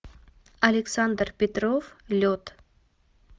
александр петров лед